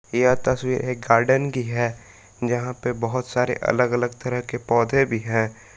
यह तस्वीर एक गार्डन की है जहां पे बहोत सारे अलग अलग तरह के पौधे भी है।